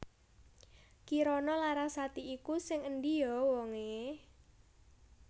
Kirana Larasati iku sing endi yo wong e?